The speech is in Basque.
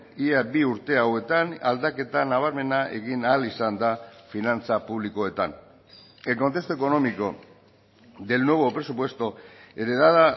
ia bi urte hauetan aldaketa nabarmena egin ahal izan da finantza publikoetan el contexto económico del nuevo presupuesto heredada